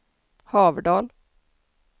Haverdal